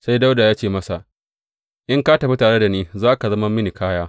Sai Dawuda ya ce masa, In ka tafi tare da ni, za ka zama mini kaya.